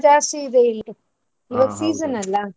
ಜಾಸ್ತಿ ಇದೆ ಇಲ್ಲಿ season ಅಲ್ಲ.